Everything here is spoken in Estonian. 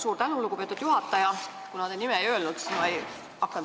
Suur tänu, lugupeetud juhataja!